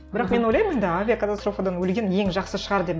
бірақ мен ойлаймын енді авиакатстрофадан өлген ең жақсы шығар деп